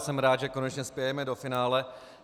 Jsem rád, že konečně spějeme do finále.